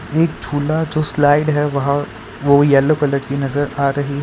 एक झूला जो स्लाइड है वहां वो येलो कलर की नजर आ रही है।